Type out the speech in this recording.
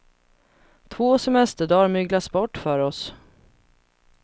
Två semesterdagar myglas bort för oss.